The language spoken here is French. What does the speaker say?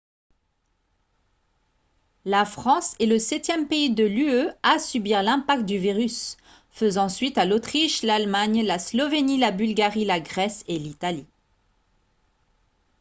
la france est le septième pays de l'ue à subir l'impact du virus faisant suite à l'autriche l'allemagne la slovénie la bulgarie la grèce et l'italie